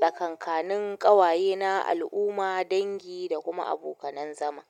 tsakankanin ƙawaye na, al'umma, dangi da kuma abokanan zama.